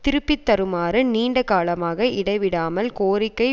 திருப்பிதருமாறு நீண்டகாலமாக இடைவிடாமல் கோரிக்கை